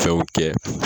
Fɛnw kɛ